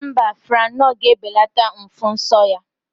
Mba, Franol ga ebelata ụfụ nsọ ya